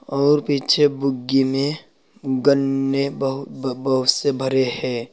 और पीछे बुग्गी मे गन्ने बहु ब बहुत से भरे हैं।